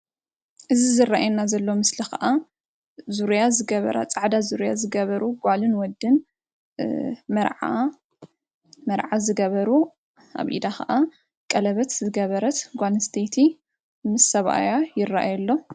አዚ ዝራኣየና ዘሎ ምስሊ ከኣ ዙረያ ዘገበራ ፃዕዳ ዙርያ ዝገበሩ ጓልን ወድን መርዓ ዝገበሩ ኣብ ኢዳ ከኣ ቀለበት ዝገበረት ጓል ኣንስተይቲ ምስ ሰብኣያ ይራኣዩ ኣሎ::